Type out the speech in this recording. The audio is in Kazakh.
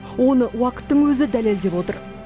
оны уақыттың өзі дәлелдеп отыр